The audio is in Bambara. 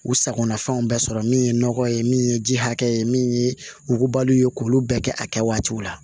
U sagonafɛnw bɛ sɔrɔ min ye nɔgɔ ye min ye ji hakɛ ye min ye wugubali ye k'olu bɛɛ kɛ a kɛ waatiw la